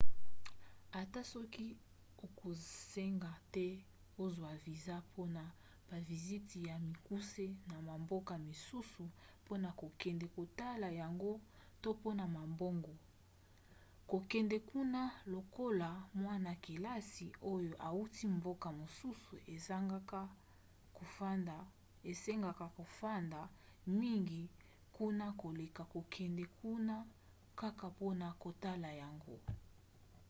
ata soki ekosenga te ozwa viza mpona baviziti ya mikuse na bamboka misusu mpona kokende kotala yango to mpona mombongo kokende kuna lokoloa mwana-kelasi oyo auti mboka mosusu esengaka kofanda mingi kuna koleka kokende kuna kaka mpona kotala yango